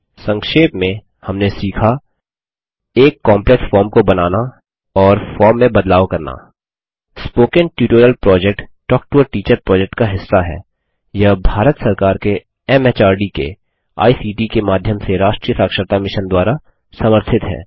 संक्षेप में हमने सीखा एल काम्प्लेक्स फॉर्म को बनाना और फॉर्म में बदलाव करना spoken tutorial project talk to a teacher project का हिस्सा हैयह भारत सरकार के एमएचआरडी के आईसीटी के माध्यम से राष्ट्रीय साक्षरता मिशन द्वारा समर्थित है